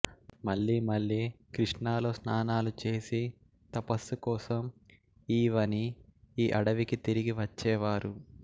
మళ్ళీ మళ్ళీ కృష్ణాలో స్నానాలు చేసి తపస్సుకోసం ఈ వని ఈ అడవి కి తిరిగి వచ్చేవారు